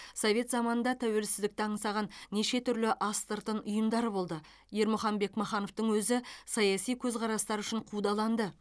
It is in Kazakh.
совет заманында тәуелсіздікті аңсаған неше түрлі астыртын ұйымдар болды ермұхан бекмахановтың өзі саяси көзқарастары үшін қудаланды